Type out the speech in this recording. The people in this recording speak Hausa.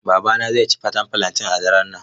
Babana zai ci faten fulanten a daren nan.